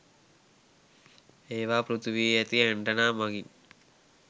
ඒවා පෘථිවියේ ඇති ඇන්ටනා මගින්